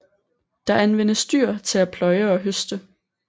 Der anvendes dyr til at pløje og høste